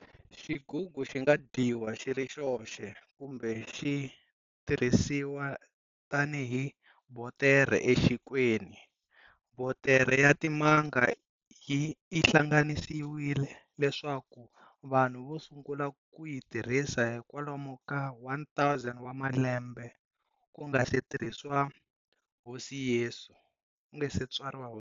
Xigugu xinga dyiwa xiri xoxe, kumbe xitirhisiwa tani hi botere exinkweni. Botere ya timanga i hlanganisiwile leswaku vanhu vasungule ku yitirhisa hikwalomo ka 1000 wa malembe kungasi tswariwa hosi yesu.